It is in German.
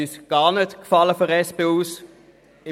Dieses gefiel uns seitens der SP überhaupt nicht.